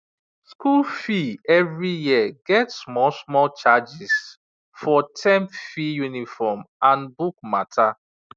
school fee every year get small small charges for term fee uniform and book matter